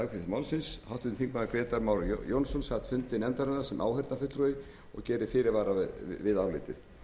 fjarverandi við afgreiðslu málsins grétar mar jónsson sat fund nefndarinnar sem áheyrnarfulltrúi og gerir fyrirvara við álitið